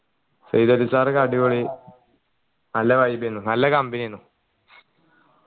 Syed Ali sir ഒക്കെ അടിപൊളി നല്ല vibe ഏന് നല്ല company ഏന്